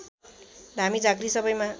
धामी झाँक्री सबैमा